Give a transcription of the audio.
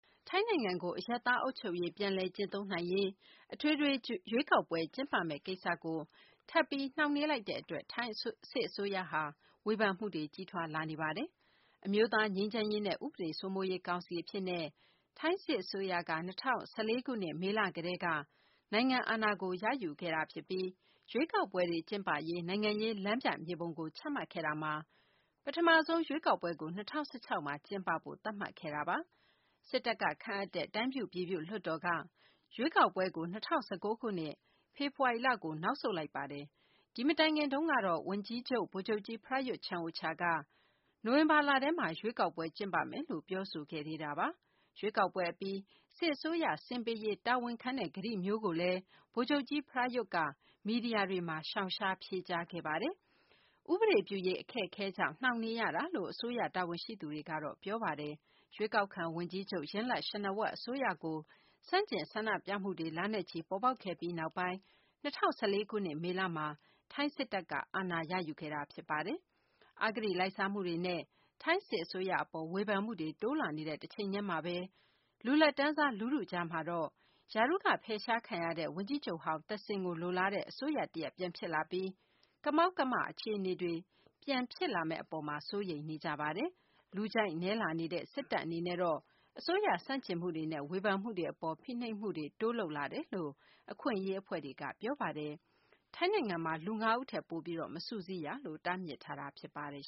ထိုင်းနိုင်ငံကို အရပ်သား အုပ်ချုပ်ရေး ပြန်လည်ကျင့်သုံးနိုင်ရေး အထွေထွေ ရွေးကောက်ပွဲ ကျင်းပမယ့် ကိစ္စကို ထပ်ပြီး နှောင့်နှေးနေလိုက်တဲ့ အတွက် ထိုင်း စစ်အစိုးရ အပေါ် ဝေဖန်မှုတွေ ကြီးထွားလာနေပါတယ်။ အမျိုးသား ငြိမ်းချမ်းရေးနဲ့ ဥပဒေစိုးမိုးရေး ကောင်စီ အဖြစ်နဲ့ ထိုင်းစစ်အစိုးရက ၂၀၁၄ ခုနှစ် မေလ ကတည်းက နိုင်ငံအာဏာကို ရယူခဲ့တာ ဖြစ်ပြီး ရွေးကောက်ပွဲတွေ ကျင်းပရေး နိုင်ငံရေး လမ်းပြမြေပုံကို ချမှတ်ခဲ့တာမှာ ပထမဆုံး ရွေးကောက်ပွဲကို ၂၀၁၆ မှာ ကျင်းပဖို့ သတ်မှတ်ခဲ့တာပါ။ စစ်တပ်က ခန့်အပ်တဲ့ တိုင်းပြုပြည်ပြု လွှတ်တော် က ရွေးကောက်ပွဲကို ၂၀၁၉ ခုနှစ် ဖေဖော်ဝါရီလ ကို နောက်ဆုတ်လိုက်ပါတယ်။ ဒီမတိုင်ခင်တုန်းက ဝန်ကြီးချုပ် ဗိုလ်ချုပ်ကြီး Prayut Chan-o-cha က နိုဝင်ဘာလထဲမှာ ရွေးကောက်ပွဲ ကျင်းပမယ်လို့ ပြောဆိုခဲ့တာပါ။ ရွေးကောက်ပွဲ အပြီး စစ်အစိုးရ ဆင်းပေးရေး တာဝန်ခံတဲ့ ကတိမျိုးကိုတော့ ဗိုလ်ချုပ်ကြီး Prayut က မီဒီယာတွေမှာ ရှောင်ရှားဖြေကြားခဲ့ပါတယ်။ ဥပဒေပြုရေး အခက်အခဲကြောင့် နှောင့်နှေးရတာလို့ အစိုးရ တာဝန်ရှိသူတွေက ပြောပါတယ်။ ရွေးကောက်ခံ ဝန်ကြီးချုပ် Yingluck Shinawatra အစိုးရကို ဆန့်ကျင် ဆန္ဒပြမှုတွေ လနဲ့ချီ ပေါ်ပေါက်ခဲ့ပြီးနောက်ပိုင်း ၂၀၁၄ ခုနှစ် မေလမှာ ထိုင်းစစ်တပ်က အာဏာရယူခဲ့တာ ဖြစ်ပါတယ်။ အဂတိလိုက်စားမှုတွေနဲ့ ထိုင်းစစ်အစိုးရ အပေါ် ဝေဖန်မှုတွေ တိုးလာနေတဲ့ တချိန်တည်းမှာဘဲ လူလတ်တန်းစား လူထုကြားမှာတော့ ရာထူးက ဖယ်ရှားခံရတဲ့ ဝန်ကြီးချုပ်ဟောင်း သက်ဆင် ကို လိုလားတဲ့ အစိုးရတရပ် ပြန်ဖြစ်လာပြီး ကမောက်ကမ အခြေအနေတွေ ပြန်ဖြစ်လာမယ့် အပေါ် စိုးရိမ်နေကြပါတယ်။ လူကြိုက်နည်းလာနေတဲ့ စစ်တပ် အနေနဲ့တော့ အစိုးရ ဆန့်ကျင်မှုတွေနဲ့ ဝေဖန်မှုတွေ အပေါ် ဖိနှိပ်မှုတွေ တိုးလုပ်လာတယ်လို့ အခွင့်အရေး အဖွဲ့တွေက ပြောပါတယ်။ ထိုင်းနိုင်ငံမှာ လူ ၅ ဦးထက် ပိုပြီး မစုစည်းရလို့ တားမြစ်ထားတာ ဖြစ်ပါတယ်